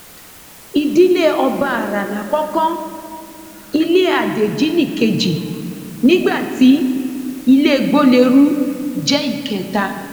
ìdílé ọbaará lákòókò ilé adéjì nìkejì nígbà tí ilé gbolérù jẹ ìkẹta